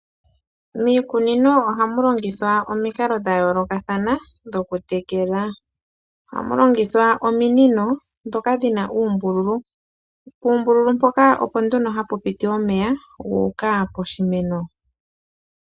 Miikunino ohamu longithwa omikalo dhayoolokathana dhokutekela, oha mu longithwa ominino dhoka dhi na uumbululu, puumbululu mpoka opo nduno ha pu piti omeya gu uka poshimeno.